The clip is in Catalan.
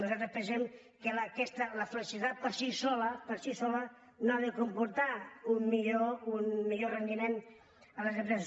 nosaltres pensem que aquesta la flexibilitat per si sola per si sola no ha de comportar un millor rendiment a les empreses